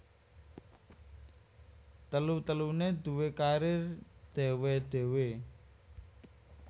Telu teluné duwé karir dhéwé dhéwé